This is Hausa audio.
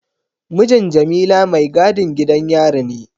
Mijin Jamila maigadin gidan yari ne.